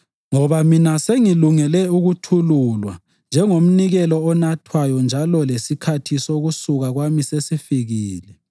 Ngoba mina sengilungele ukuthululwa njengomnikelo onathwayo njalo lesikhathi sokusuka kwami sesifikile.